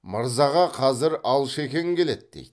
мырзаға қазір алшекең келеді дейді